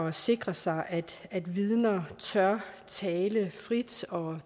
at sikre sig at vidner tør tale frit og